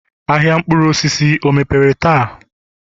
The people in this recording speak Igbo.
ahịa mkpụrụ osisi o mepere taa?